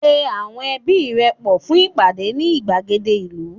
pe awọn ẹbi rẹ pọ fún ìpàdé ni igbagede ìlú